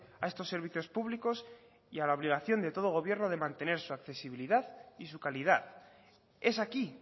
a estos servicios públicos y a la obligación de todo gobierno de mantener su accesibilidad y su calidad es aquí